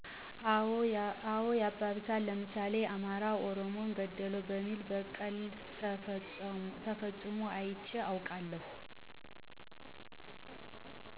አዎ ያባብሳል፣ ለምሳሌ አማራ ኦሮሞን ገደለው በሚል በቀል ተፈፅሞ አይቼ አውቃለሁ።